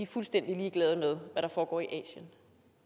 fuldstændig ligeglade med hvad der foregår i asien